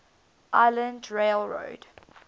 island rail road